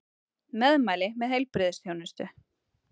Meðmæli með heilbrigðisþjónustu